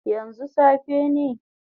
Yanzu safe ne?